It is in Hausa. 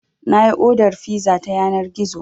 Na yi odar fiza ta yanar gizo.